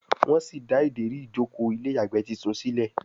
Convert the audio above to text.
wón sí dá Ìdérí ìjókòó ilé ìyàgbẹ́ títún sílè